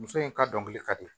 Muso in ka dɔnkili ka di